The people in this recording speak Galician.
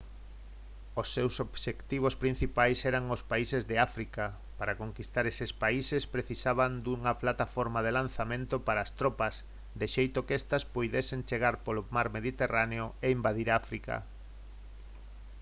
os seus obxectivos principais eran os países de áfrica para conquistar eses países precisaban dunha plataforma de lanzamento para as tropas de xeito que estas puidesen chegar polo mar mediterráneo e invadir áfrica